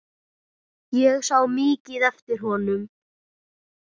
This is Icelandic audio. Ég sá mikið eftir honum.